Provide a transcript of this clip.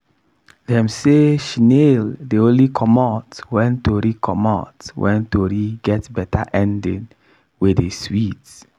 dem say shnail dey only comot wen tori comot wen tori get beta ending wey dey swit.